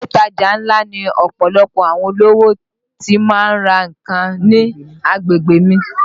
Ilé ìtajà ńlá ni ọ̀pọ̀lọpọ̀ àwọn olówó ti má ń ra nǹkan ní agbègbè mi